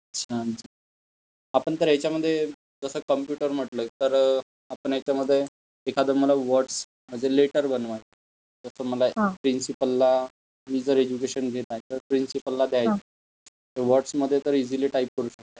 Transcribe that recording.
छान छान आपण जर याच्यामध्ये जस कम्प्युटर म्हटलं तर आपण याच्यामध्ये एखाद मला वर्ड्स म्हणजे लेटर बनवा, जस मला प्रिंसिपलला मि जर एज्युकेशन घेत आहे तर प्रिन्सिपलला देईन. वर्ड्समध्ये तर इसिली टाइप करू शकतात.